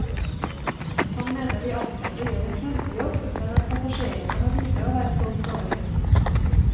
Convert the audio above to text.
Han mener de ansatte gjør en kjempejobb, men at passasjerene har lite å være stolt over.